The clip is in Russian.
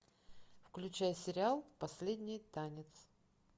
включай сериал последний танец